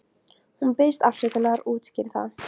Hún biðst afsökunar og útskýrir það.